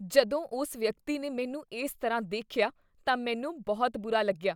ਜਦੋਂ ਉਸ ਵਿਅਕਤੀ ਨੇ ਮੈਨੂੰ ਇਸ ਤਰ੍ਹਾਂ ਦੇਖਿਆ ਤਾਂ ਮੈਨੂੰ ਬਹੁਤ ਬੁਰਾ ਲੱਗਦਾ ਹੈ।